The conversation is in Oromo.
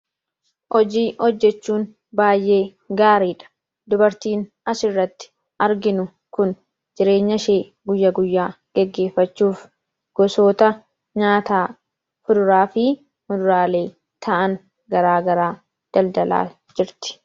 Hojii hojjechuun baay'ee gaariidha. Dubartiin asirratti arginu kun jireenya shee guyyaguyyaa geggeeffachuuf gosoota nyaataa fuduraafii muduraalee ta'an garaa garaa daldalaa jirti.